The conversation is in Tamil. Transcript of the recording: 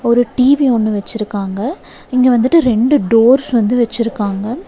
ஒரு டி_வி ஒன்னு வெச்சிருக்காங்க இங்க வந்துட்டு ரெண்டு டோர்ஸ் வந்து வெச்சிருக்காங்க.